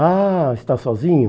Ah, está sozinho?